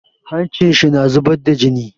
Hancin shi na zubar da jini.